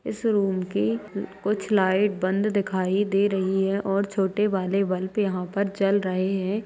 इस रूम की कुछ लाइट बंद दिखाई दे रही है और छोटे वाले बल्ब यहाँ पर जल रहे हैं।